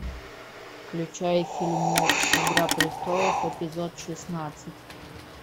включай фильмец игра престолов эпизод шестнадцать